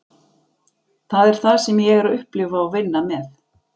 Það er það sem ég er að upplifa og vinna með.